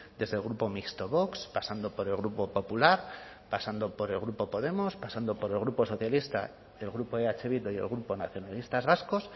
desde el grupo mixto vox pasando por el grupo popular pasando por el grupo podemos pasando por el grupo socialista el grupo eh bildu y el grupo nacionalistas vascos